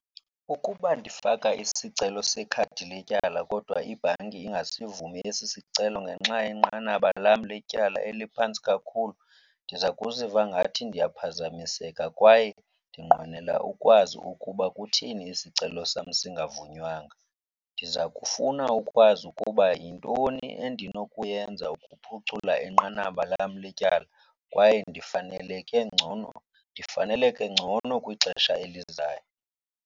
Ukuba ndifaka isicelo sekhadi letyala kodwa ibhanki ingasivumi esi sicelo ngenxa yenqanaba lam letyala eliphantsi kakhulu, ndiza kuziva ngathi ndiyaphazamiseka kwaye ndinqwenela ukwazi ukuba kutheni isicelo sam singavunywanga. Ndiza kufuna ukwazi ukuba yintoni endinokuyenza ukuphucula inqanaba lam letyala kwaye ndifaneleke ngcono, ndifaneleke ngcono kwixesha elizayo.